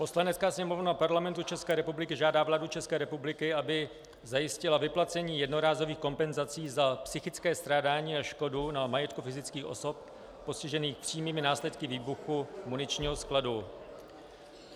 Poslanecká sněmovna Parlamentu České republiky žádá vládu České republiky, aby zajistila vyplacení jednorázových kompenzací za psychické strádání a škodu na majetku fyzických osob postižených přímými následky výbuchu muničního skladu.